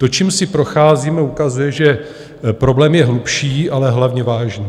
To, čím si procházíme, ukazuje, že problém je hlubší, ale hlavně vážný.